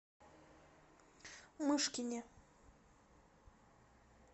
мышкине